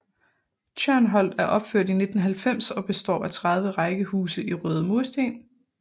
Tjørnholt er opført i 1990 og består af 30 rækkehuse i røde mursten